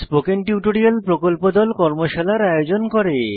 spoken tutorial প্রকল্প দল কর্মশালার আয়োজন করে